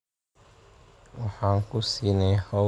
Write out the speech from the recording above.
Waxaan ku siinay hawl bilow yar.